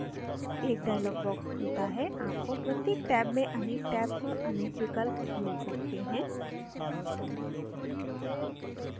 एक dialog box खुलता है आपको प्रत्येक टैब में अनेक tabs और अनेक विकल्प मिल सकते हैं